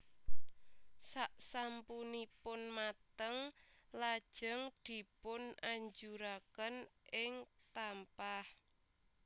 Sak sampunipun mateng lajeng dipunajuraken ing tampah